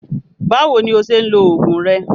Báwo ni ó ṣe ń lo oògùn rẹ?